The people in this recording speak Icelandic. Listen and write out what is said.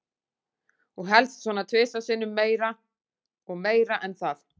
Og helst svona tvisvar sinnum meir og meira en það.